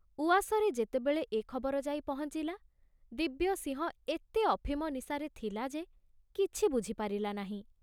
ଉଆସରେ ଯେତେବେଳେ ଏ ଖବର ଯାଇ ପହଞ୍ଚିଲା, ଦିବ୍ୟସିଂହ ଏତେ ଅଫିମ ନିଶାରେ ଥିଲା ଯେ କିଛି ବୁଝିପାରିଲା ନାହିଁ।